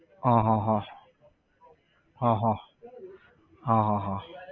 હા હા હા હા હા હા હા હા